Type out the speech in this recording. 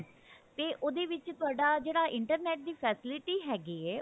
ਤੇ ਉਹਦੇ ਵਿੱਚ ਤੁਹਾਡਾ ਜਿਹੜਾ internet ਦੀ facility ਹੈਗੀ ਹੈ